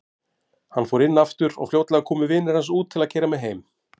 Hann fór inn aftur og fljótlega komu vinir hans út til að keyra mig heim.